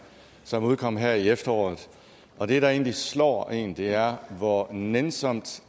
som udkom her i efteråret og det der egentlig slår en er hvor nænsomt